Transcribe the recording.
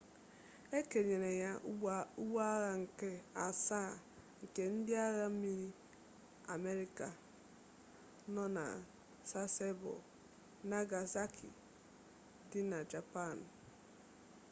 e kenyere ya ụgbọagha nke asaa nke ndị agha mmiri amerịka nọ na sasebo nagasaki dị na japan